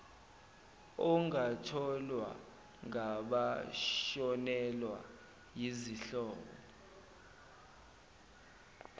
ongatholwa ngabashonelwa yizihlobo